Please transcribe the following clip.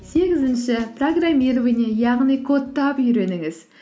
сегізінші программирование яғни кодтап үйреніңіз